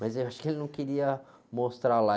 Mas aí eu acho que ele não queria mostrar lá.